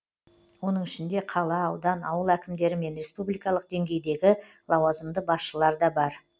оның ішінде қала аудан ауыл әкімдері мен республикалық деңгейдегі лауазымды басшылар да бар